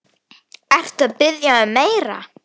Ertu að biðja um meira.